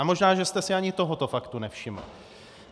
Ale možná, že jste si ani tohoto faktu nevšiml.